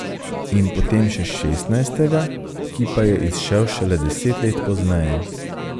In potem še šestnajstega, ki pa je izšel šele deset let pozneje.